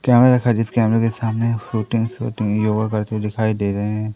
कैमरे दिखाई जिस कैमरे के सामने फोटो शूटिंग योगा करते दिखाई दे रहे हैं।